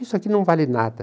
Isso aqui não vale nada.